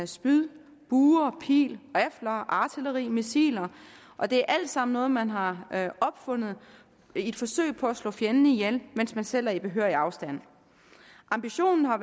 spyd bue og pil rifler artilleri missiler og det er alt sammen noget man har opfundet i et forsøg på at slå fjenden ihjel mens man selv er på behørig afstand ambitionen har